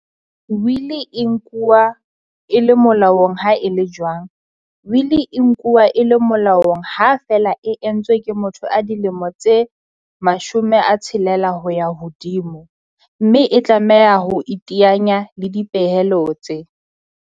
Wili e nkuwa e le mo laong ha e le jwang? Wili e nkuwa e le molaong ha feela e entswe ke motho ya dilemo tse 16 ho ya hodimo, mme e tlameha ho iteanya le dipehelo tse